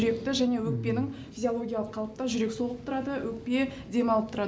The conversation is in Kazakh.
жүректі және өкпенің физиологиялық қалыпта жүрек соғып тұрады өкпе демалып тұрады